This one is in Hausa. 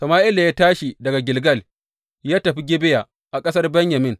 Sama’ila ya tashi daga Gilgal ya tafi Gibeya a ƙasar Benyamin.